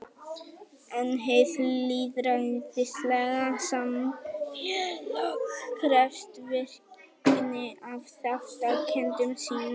En hið lýðræðislega samfélag krefst virkni af þátttakendum sínum.